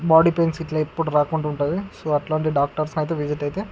Body pains ఇట్లా ఎప్పుడు రాకుండా ఉంటది. సో అట్లాంటి డాక్టర్స్ ని అయితే విసిట్ అయితే --